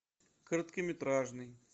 короткометражный